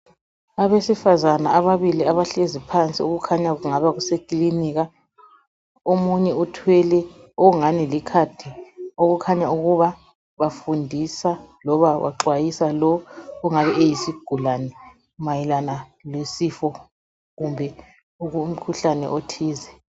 Abesifazana ababili abahlezi phansi okukhanya ukuthi kungaba kusekilinika, omunye uthwele okungani likhadi okukhanya ukuba bafundisa noma baxwayisa lo ongabe kuyisigulani mayelana lesifo kumbe umkhuhlane othize.